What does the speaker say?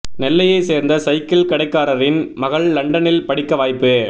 நெல்லையை சேர்ந்த சைக்கிள் கடைக்காரரின் மகள் லண்டனில் படிக்க வாய்ப்பு